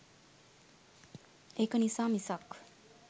ඒක නිසා මිසක්